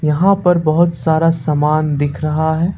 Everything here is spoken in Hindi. यहां पर बहुत सारा सामान दिख रहा है।